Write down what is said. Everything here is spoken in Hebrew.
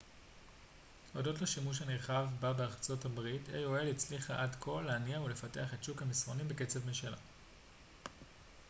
הודות לשימוש הנרחב בה ברחבי ארצות הברית aol הצליחה עד כה להניע ולפתח את שוק המסרונים בקצב משלה